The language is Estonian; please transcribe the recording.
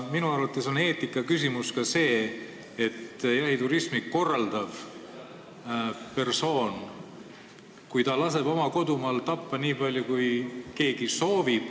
Minu arvates on aga eetikaküsimus ka see, kui jahiturismi korraldav persoon laseb oma kodumaal tappa nii palju, kui keegi soovib.